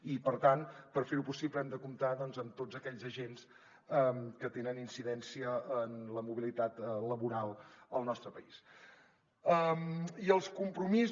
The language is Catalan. i per tant per fer ho possible hem de comptar amb tots aquells agents que tenen incidència en la mobilitat laboral al nostre país